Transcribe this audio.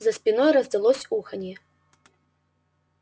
за спиной раздалось уханье